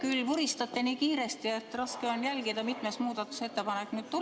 Te vuristate nii kiiresti, et raske on jälgida, mitmes muudatusettepanek tuli.